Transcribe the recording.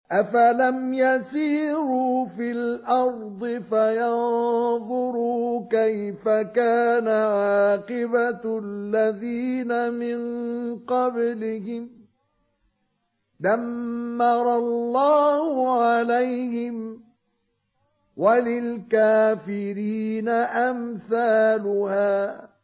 ۞ أَفَلَمْ يَسِيرُوا فِي الْأَرْضِ فَيَنظُرُوا كَيْفَ كَانَ عَاقِبَةُ الَّذِينَ مِن قَبْلِهِمْ ۚ دَمَّرَ اللَّهُ عَلَيْهِمْ ۖ وَلِلْكَافِرِينَ أَمْثَالُهَا